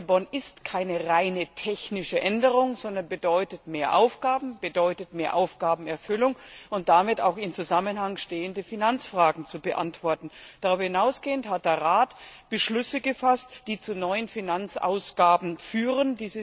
Lissabon ist keine rein technische Änderung, sondern bedeutet mehr Aufgaben, bedeutet mehr Aufgabenerfüllung und damit auch in Zusammenhang stehende Finanzfragen zu beantworten. Darüber hinausgehend hat der Rat Beschlüsse gefasst, die zu neuen Finanzausgaben führen.